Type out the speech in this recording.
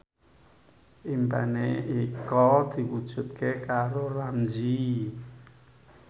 impine Eko diwujudke karo Ramzy